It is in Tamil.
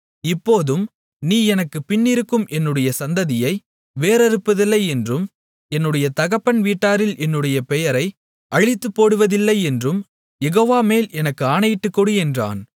இப்போதும் நீ எனக்குப் பின்னிருக்கும் என்னுடைய சந்ததியை வேரறுப்பதில்லை என்றும் என்னுடைய தகப்பன் வீட்டாரில் என்னுடைய பெயரை அழித்துப்போடுவதில்லை என்றும் யெகோவாமேல் எனக்கு ஆணையிட்டுக்கொடு என்றான்